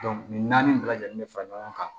nin naani bɛɛ lajɛlen bɛ fara ɲɔgɔn kan